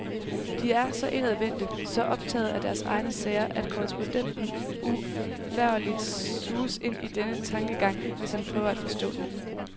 De er så indadvendte, så optagede af deres egne sager, at korrespondenten uvægerligt suges ind i denne tankegang, hvis han prøver at forstå den.